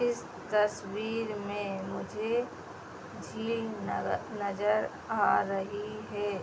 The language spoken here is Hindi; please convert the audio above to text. इस तस्वीर में मुझे झील न नजर आ रही है।